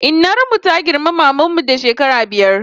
Innar mu ta girmi maman mu da shekara biyar